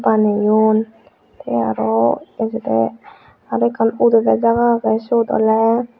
baneyon tey aro ejodey aro udedey jaga agey siyot oley.